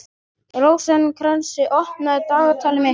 Rósinkransa, opnaðu dagatalið mitt.